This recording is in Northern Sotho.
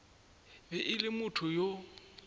be e le motho yo